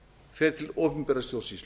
fer til opinberrar stjórnsýslu